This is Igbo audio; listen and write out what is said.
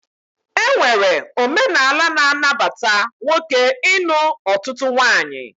E nwere omenala na-anabata nwoke ịnụ ọtụtụ nwaanyị